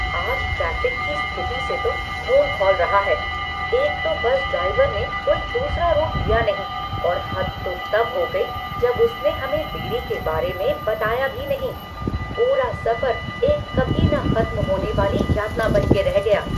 आज ट्रैफ़िक की स्थिति से तो ख़ून खौल रहा है। एक तो बस ड्राइवर ने कोई दूसरी रूट लिया नहीं, और हद तो तब हो गई जब उसने हमें देरी के बारे में बताया भी नहीं। पूरा सफर एक कभी न खत्म होने वाली यातना बन के रह गया!